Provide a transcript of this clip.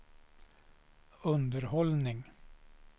underhållning